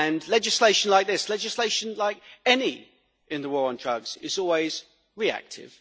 Legislation like this legislation like any in the war on drugs is always reactive.